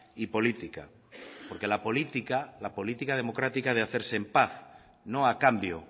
y política porque la política la política democrática ha de hacerse en paz no a cambio